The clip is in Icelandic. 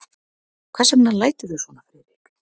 Hvers vegna læturðu svona, Friðrik?